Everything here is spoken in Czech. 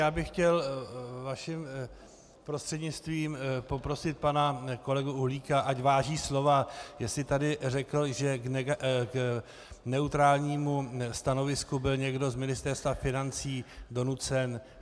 Já bych chtěl vaším prostřednictvím poprosit pana kolegu Uhlíka, ať váží slova, jestli tady řekl, že k neutrálnímu stanovisku byl někdo z Ministerstva financí donucen.